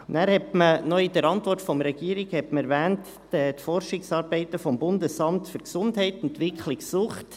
Dann hat man in der Antwort der Regierung die Forschungsarbeiten des BAG, Entwicklung Sucht.